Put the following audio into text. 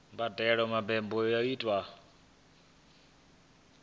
vha badele mbadelo yo tiwaho